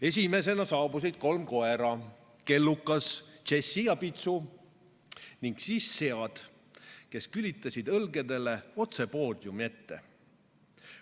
Esimesena saabusid kolm koera, Kellukas, Jessie ja Pitsu, ning siis sead, kes külitasid õlgedele otse poodiumi ette.